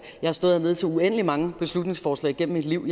jeg har stået hernede til uendelig mange beslutningsforslag gennem mit liv